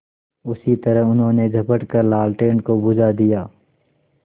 उसी तरह उन्होंने झपट कर लालटेन को बुझा दिया